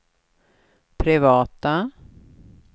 privata